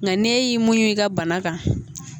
Nka ne y'i munyun i ka bana kan.